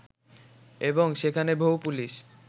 এবং সেখানে বহু পুলিশ